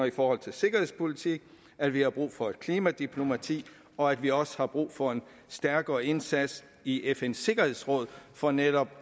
i forhold til sikkerhedspolitik at vi har brug for et klimadiplomati og at vi også har brug for en stærkere indsats i fns sikkerhedsråd for netop